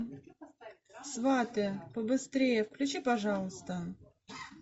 сваты побыстрее включи пожалуйста